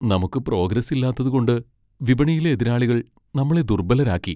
നമുക്ക് പ്രോഗ്രസ് ഇല്ലാത്തതുകൊണ്ട് വിപണിയിലെ എതിരാളികൾ നമ്മളെ ദുർബലരാക്കി.